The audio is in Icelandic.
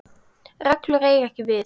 reglur eiga ekki við.